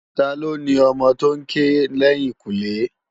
Tá ló ni òmò tó n ké lèyinkúnlé?